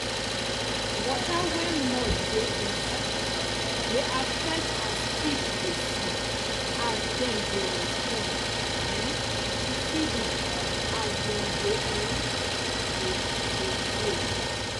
water wen mud de inside dey affect as fish dey see as dem de respond um to feeding as dem dey um dey grow